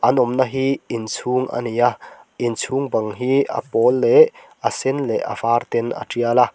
an awmna hi inchhung ani a inchhung bang hi a pawl leh a sen leh a var ten a tial a.